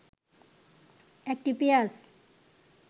১টি পেঁয়াজ